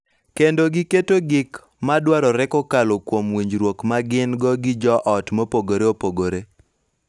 Kendo giketo gik ma dwarore kokalo kuom winjruok ma gin-go gi jo ot mopogore opogore.